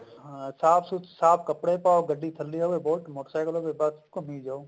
ਹਾਂ ਸਾਫ਼ ਕੱਪੜੇ ਪਾਓ ਗੱਡੀ ਥੱਲੇ ਹੋਵੇ ਬੁਲਟ ਮੋਟਰਸਾਈਕਲ ਹੋਵੇ ਬੱਸ ਘੁੰਮੀ ਜਾਓ